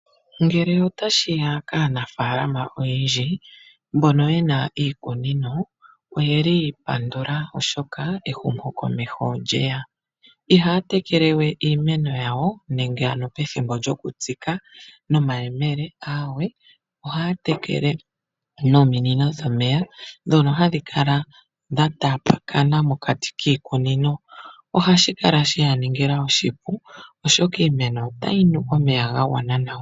Ngele ota shi ya kaanafalama oyendji mbono ye na iikunino, oye li yiipandula oshoka ehumo komeho olyeya. Iha ya tekele we iimeno yawo nenge ano pethimbo lyoku tsika nomahemele, aawe oha ya tekele nominino dhomeya dhono hadhi kala dha tapakana mokati kiikunino. Ohashi kala sheya ningila oshipu oshoka iimeno ota yi nu omeya ga gwana nawa.